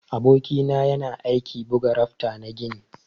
Aboki na yana aiki buga rafta na gini.